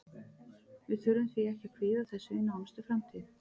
Við þurfum því ekki að kvíða þessu í nánustu framtíð.